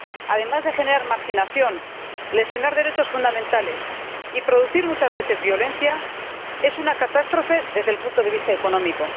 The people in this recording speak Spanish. Además de generar marginación, lesionar derechos fundamentales y producir muchas veces violencia, es una catástrofe desde el punto de vista económico.